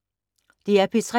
DR P3